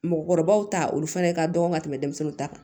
Mɔgɔkɔrɔbaw ta olu fɛnɛ ka dɔgɔn ka tɛmɛ denmisɛnninw ta kan